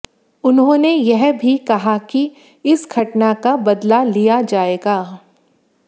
उन्होंने यह भी कहा कि इस घटना का बदला लिया जाएगा